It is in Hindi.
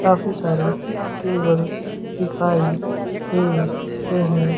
काफी सारे टेबल दिखाई दे रहे--